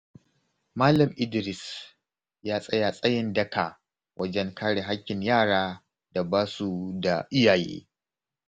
Malam Idris ya tsaya tsayin daka wajen kare haƙƙin yaran da ba su da iyaye.